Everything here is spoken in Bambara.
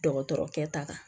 Dɔgɔtɔrɔkɛ ta kan